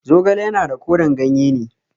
Zogale yana da koren ganye ne.